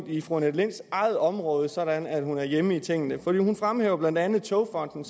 i fru annette linds eget område sådan at hun er hjemme i tingene for hun fremhæver blandt andet togfonden